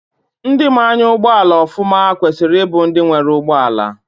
Ndị maa anya ụgbọala ọfụma kwesiri ịbụ ndị nwere ụgbọala.